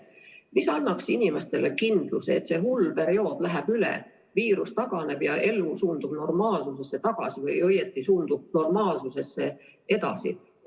Mis annaks inimestele kindluse, et see hull periood läheb üle, viirus taganeb ja elu suundub normaalsusse tagasi või õieti suundub edasi normaalsusesse?